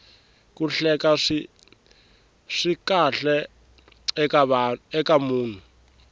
ku hleka swi kahle eka munhu